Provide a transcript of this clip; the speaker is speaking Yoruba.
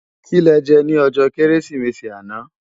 Ki lè jè ni òjò Kérésimési àná